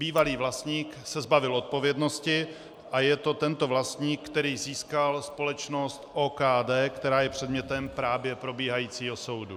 Bývalý vlastník se zbavil odpovědnosti a je to tento vlastník, který získal společnost OKD, která je předmětem právě probíhajícího soudu.